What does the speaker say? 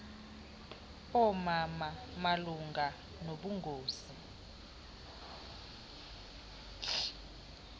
oomama malunga nobungozi